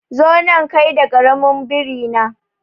Zo nan kai da karamin biri na